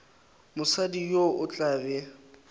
mosadi yo o tla be